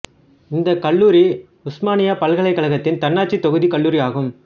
இந்த கல்லூரி உசுமானியா பல்கலைக்கழகத்தின் தன்னாட்சி தொகுதி கல்லூரி ஆகும்